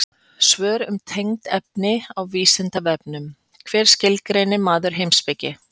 Svör um tengd efni á Vísindavefnum: Hvernig skilgreinir maður heimspeki?